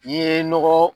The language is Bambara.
I ye nɔgɔ